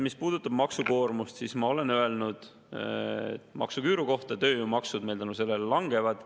Mis puudutab maksukoormust, siis ma olen öelnud maksuküüru kohta, et tööjõumaksud tänu selle langevad.